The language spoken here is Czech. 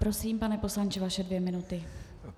Prosím, pane poslanče, vaše dvě minuty.